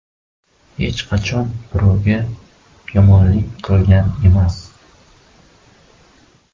Hech qachon birovga yomonlik qilgan emas.